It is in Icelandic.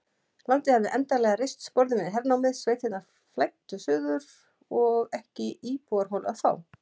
Landið hafði endanlega reist sporðinn við hernámið, sveitirnar flæddu suður og ekki íbúðarholu að fá.